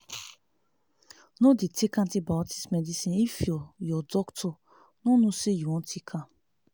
nor dey take antibiotics medicine if ur ur doctor nor know say u wan take am